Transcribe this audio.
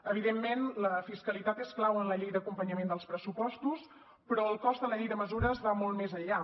evidentment la fiscalitat és clau en la llei d’acompanyament dels pressupostos però el cost de la llei de mesures va molt més enllà